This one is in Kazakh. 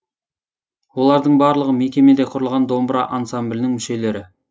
олардың барлығы мекемеде құрылған домбыра ансамблінің мүшелері